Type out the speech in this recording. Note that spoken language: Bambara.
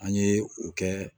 An ye o kɛ